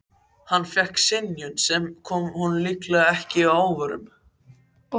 Hann fékk synjun, sem kom honum líklega ekki að óvörum.